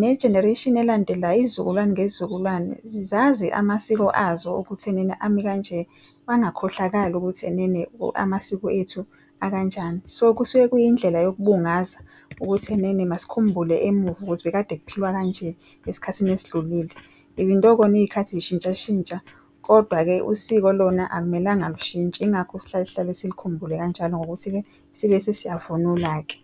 ne-generation elandelayo izizukulwane ngezizukulwane zazi amasiko azo ekuthenini ami kanje bangakhohlakali ukuthi enene amasiko ethu akanjani. So kusuke kuyindlela yokubungaza ukuthi enene masikhumbule emuva ukuthi bekade kuphilwa kanje esikhathini esidlulile. Even though khona izikhathi zishintshashintsha, kodwa-ke usiko lona akumelanga lushintshe ingakho sihlale sihlale sikhumbule kanjalo ngokuthi-ke sibe siyavunula-ke.